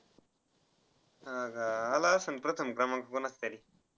हा आला असेल प्रथम क्रमांक पण कोणाचातरी